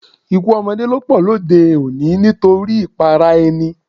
Ikú ọmọdé ló pọ lóde-òní nítorí ìpara-ẹni.